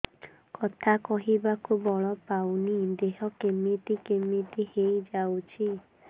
କଥା କହିବାକୁ ବଳ ପାଉନି ଦେହ କେମିତି କେମିତି ହେଇଯାଉଛି